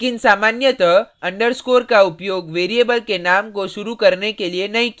लेकिन सामान्यतः underscore का उपयोग variable के name को शुरु करने के लिए नहीं किया जाता है